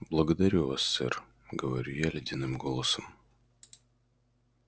благодарю вас сэр говорю я ледяным голосом